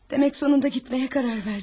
Demek sonunda gitmeye karar verdin.